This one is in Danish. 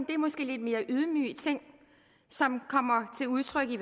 det er måske lidt mere ydmyge ting som kommer til udtryk i